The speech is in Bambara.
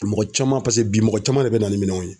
Mɔgɔ caman paseke bi mɔgɔ caman de bɛ na ni minɛnw ye.